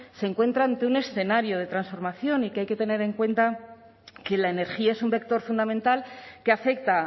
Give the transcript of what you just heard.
se encuentra ante un escenario de transformación y que hay que tener en cuenta que la energía es un vector fundamental que afecta